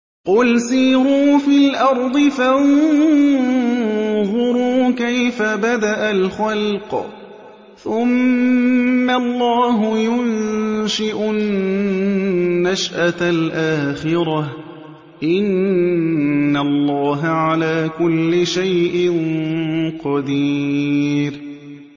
قُلْ سِيرُوا فِي الْأَرْضِ فَانظُرُوا كَيْفَ بَدَأَ الْخَلْقَ ۚ ثُمَّ اللَّهُ يُنشِئُ النَّشْأَةَ الْآخِرَةَ ۚ إِنَّ اللَّهَ عَلَىٰ كُلِّ شَيْءٍ قَدِيرٌ